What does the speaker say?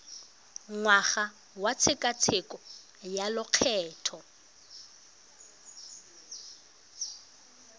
ngwaga wa tshekatsheko ya lokgetho